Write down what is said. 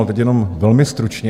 Teď jenom velmi stručně.